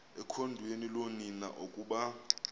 ekhondweni loonina ukuba